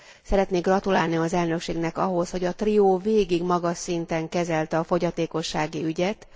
Szeretnék gratulálni az elnökségnek ahhoz, hogy a trió végig magas szinten kezelte a fogyatékossági ügyet.